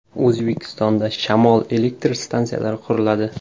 O‘zbekistonda shamol elektr stansiyalari quriladi.